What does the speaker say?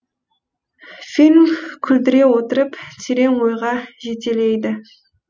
фильм күлдіре отырып терең ойға жетелейді